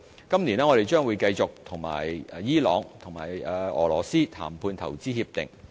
今年，我們將繼續與伊朗及俄羅斯談判投資協定。